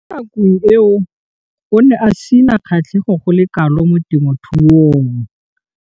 Mo nakong eo o ne a sena kgatlhego go le kalo mo temothuong.